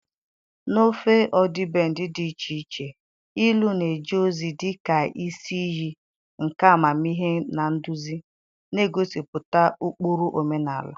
N'ofe ọdịbendị dị iche iche, ilu na-eje ozi dị ka isi iyi nke amamihe na nduzi, na-egosipụta ụkpụrụ, omenala.